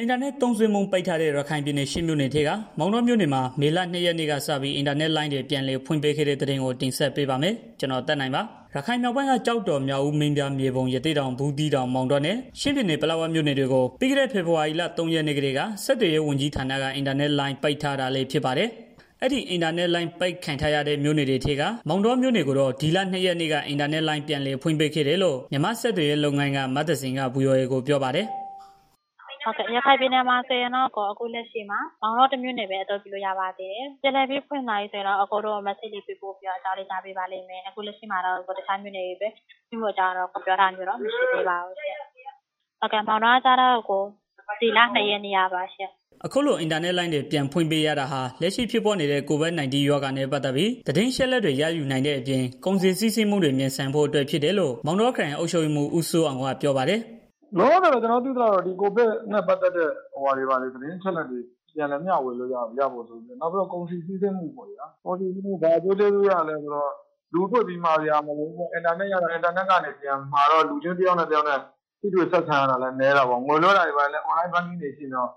အင်တာနက်သုံးစွဲမှု ပိတ်ပင်ထားတဲ့ ရခိုင်ပြည်နယ် ရှစ် မြို့နယ်ထဲက မောင်တောမြို့နယ်မှာ မေလ ၂ ရက် နေ့ကစပြီး အင်တာနက်လိုင်း ပြန်လည်ဖွင့်ပေးခဲ့တဲ့သတင်းကို ဗွီအိုအေ မြန်မာပိုင်းသတင်းထောက် ကိုသက်နိုင်က တင်ဆက်ပေးပါမယ်။ ရခိုင်မြောက်ပိုင်းက ကျောက်တော် မြောက်ဦး၊ မင်းပြား၊ မြေပုံ၊ ရသေ့တောင်၊ ဘူးသီးတောင်၊ မောင်တောနဲ့ ချင်းပြည်နယ် ပလက်ဝမြို့နယ်တွေကို ပြီးခဲ့တဲ့ ဖေဖော်ဝါရီလ ၃ ရက်နေ့ကတည်းက ဆက်သွယ်ရေးဝန်ကြီးဌာနက အင်တာနက်လိုင်း ပိတ်ပင်ထားတာလည်း ဖြစ်ပါတယ်။ အဲဒီအင်တာနက် ပိတ်ခံထားရတဲ့ မြို့နယ်တွေထဲက မောင်တောမြို့နယ်ကိုတော့ ဒီလ ၂ ရက်နေ့က အင်တာနက်လိုင်း ပြန်လည် ဖွင့်ပေးခဲ့တယ်လို့ မြန်မာ့ဆက်သွယ်ရေးလုပ်ငန်းက မသဇင်က VOA ကို ပြောပါတယ်။ "ရခိုင်ပြည်နယ်မှာဆိုရင်တော့ အခုလက်ရှိမှာ မောင်တောတမြို့နယ်ပဲ ပြောလို့ရပါသေးတယ်။ ကျန်တဲ့မြို့တွေ ဖွင့်ရင်တော့ အကြောင်းကြားပေးပါလိမ့်မယ်။ လက်ရှိမှာတော့ ကျန်တဲ့မြို့နယ်တွေကို ဖွင့်ပေးဖို့ အကြောင်းကြားထားတာတော့ မရှိသေးဘူး။ မောင်တောကတော့ ဒီလ ၂ ရက်နေ့က ဖွင့်ပေးထားတာ။" အခုလိုအင်တာလိုင်းတွေ ပြန်ဖွင့်ပေးရတာဟာ လက်ရှိဖြစ်ပွားနေတဲ့ COVID-19 ရောဂါနဲ့ပတ်သတ်ပြီး သတင်းအချက်တွေ ရယူနိုင်တဲ့ အပြင် ကုန်စည်စီးဆင်းမှုတွေ မြန်ဆန်ဖို့အတွက်ဖြစ်တယ်လို့ မောင်ခရိုင် အုပ်ချုပ်ရေးမှူး ဦးစိုးအောင်က ပြောပါတယ်။ "ကျနော်သိသလောက်ကတော့ ဒီ COVID နဲ့ ပတ်သတ်တဲ့ သတင်အချက်အလက်တွေ ဘာတွေ မျှဝေလို့ရအောင် နောက်တစ်ခုကတော့ ကုန်စည်စီးဆင်းမှုပေါ့ဗျာ။ လူချင်းတွေ့ပြီးမှာစရာ မလိုတော့ဘူးပေါ့ဗျာ အင်တာနက်ကနေ မှာတော့ လူချင်းတစ်ယောက်နဲ့ တစ်ယောက်နဲ့ တစ်ယောက် တွေ့ဆုံဆက်ဆံရတာလည်း နည်းတာပေါ့။ ငွေလွဲတာတွေကလည်း online banking တွေရှိနေတော့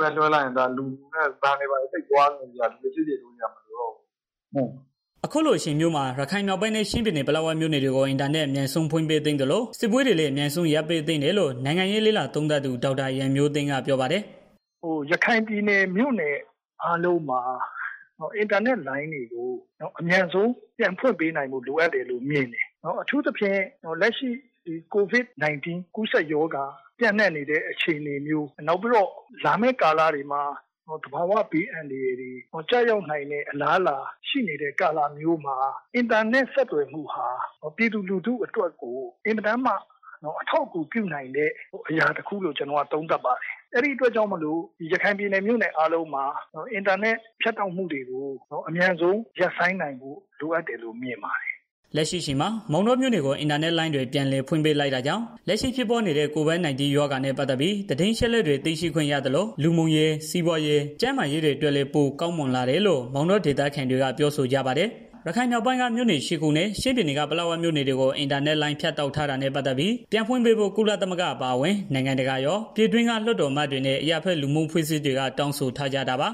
ဘဏ်တွေကို သွားစရာမလိုတော့ဘူးပေါ့။ လူစည်ကားတဲ့နေရာတွေ မသွားရသေးဘူးပေါ့။" အခုလိုအချိန်မျိုးမှာ ရခိုင်မြောက်ပိုင်းနဲ့ ချင်းပြည်နယ် ပလက်ဝမြို့နယ်တွေကို အင်တာနက်အမြန်ဆုံး ဖွင့်ပေးသင့်သလို စစ်ပွဲတွေကိုလည်း အမြန်ဆုံးရပ်ပေးသင့်တယ်လို့ နိုင်ငံရေးလေ့လာသုံးသပ်သူ ဒေါက်တာရန်မျိုးသိမ်းက ပြောပါတယ်။ "ရခိုင်ပြည်နယ် မြို့နယ် အားလုံးမှာ အင်တာနက်လိုင်းတွေကို အမြန်ဆုံးပြန်ဖွင့်ပေးနိုင်ဖို့ လိုအပ်တယ်လို့ မြင် တယ်။ အထူးသဖြင့် လက်ရှိ COVID-19 ကူးစက်ရောဂါ ပျံ့နှံ့နေတဲ့ အခြေအနေမျိုး နောက်ပြီးတော့ လာမည့် ကာလတွေမှာ သဘာဝဘေးအန္တရာယ် ကျရောက်နိုင်တဲ့ အလားအလာ ရှိနေတဲ့ ကာလမျိုးမှာ အင်တာနက်ဆက်သွယ်မှုဟာ ပြည်သူလူထုအတွက်ကို အယ်မတန်မှ အထောက်အကူပြုနိုင်တဲ့ အရာတစ်ခုလို့ ကျနော်က သုံးသပ်ပါတယ်။ အဲဒါကြောင့်မို့လို့ ရခိုင်ပြည်နယ် မြို့နယ်အားလုံးမှာ အင်တာနက်လိုင်းတွေကို အမြန်ဆုံး ဖွင့်ပေးဖို့ လိုအပ်တယ်လို့ မြင်တယ်။" လက်ရှိအချိန်မှာ မောင်တောမြို့နယ်ကို အင်တာနက်လိုင်းတွေ ပြန်လည်ဖွင့်ပေးလိုက်တာကြောင့် လက်ရှိဖြစ်ပွားနေတဲ့ COVID-19 ရောဂါနဲ့ ပတ်သတ်ပြီး သတင်းအချက်အလက်တွေ သိရှိခွင့်ရသလို တစ်ခြားလူမှုရေး စီးပွားရေး ကျန်းမာရေးတွေအတွက်လည်း ပိုမိုကောင်းမွန်တယ်လို့ မောင်တောဒေသခံတွေက ပြောဆိုကြပါတယ်။ ရခိုင်မြောက်ပိုင်းက မြို့နယ် ၈ ခုနဲ့ ချင်းပြည်နယ်က ပလက်ဝမြို့နယ်တွေကို အင်တာလိုင်းဖြတ်တောက်ထားတာနဲ့ ပတ်သတ်ပြီး ပြန်ဖွင့်ပေးဖို့ ကုလသမဂ္ဂအပါအဝင် နိုင်ငံတကာရော ပြည်တွင်းက လွှတ်တော်အမတ်တွေနဲ့ အရပ်ဘက်လူမှုအဖွဲ့အစည်းတွေက တောင်းဆိုထားကြပါ